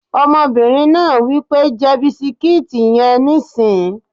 Ọmọbìnrin náà wí pé "jẹ bisikíìtì yẹn nísìín!"